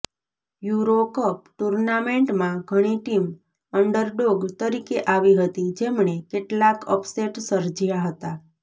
euro cup ટૂર્નામેન્ટમાં ઘણી team underdog તરીકે આવી હતી જેમણે કેટલાક અપસેટ સર્જ્યા હતા